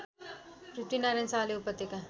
पृथ्वीनारायण शाहले उपत्यका